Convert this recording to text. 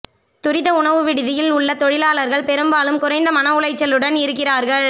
துரித உணவு விடுதியில் உள்ள தொழிலாளர்கள் பெரும்பாலும் குறைந்த மன உளைச்சலுடன் இருக்கிறார்கள்